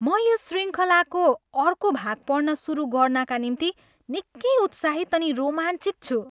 म यस शृङ्खलाको अर्को भाग पढ्न सुरु गर्नाका निम्ति निकै उत्साहित अनि रोमाञ्चित छु!